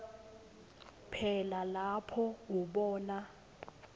phela lapho ubona